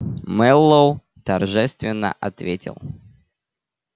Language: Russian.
мэллоу торжественно ответил